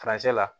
la